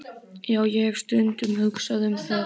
Já, ég hef stundum hugsað um það.